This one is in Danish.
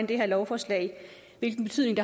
det her lovforslag